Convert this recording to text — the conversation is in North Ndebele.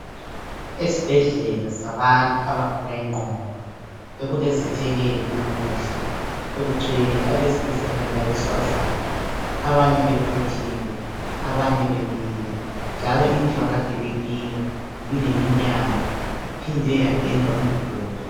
Esibhedlela sabantu abagula ingqondo bekulezethekeli namuhla. Bekugcwele abesilisa kanye labesifazana. Abanye bequthile, abanye bemile njalo indlu akade bekiyo ibileminyango iphindwe yapendwa imiduli.